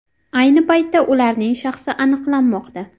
Ayni paytda ularning shaxsi aniqlanmoqda.